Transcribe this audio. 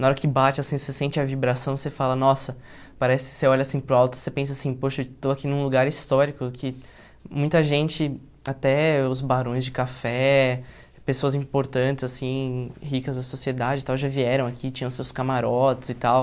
Na hora que bate, assim, você sente a vibração, você fala, nossa, parece você olha assim para o alto, você pensa assim, poxa, eu estou aqui num lugar histórico, que muita gente, até os barões de café, pessoas importantes, assim, ricas da sociedade e tal, já vieram aqui, tinham seus camarotes e tal.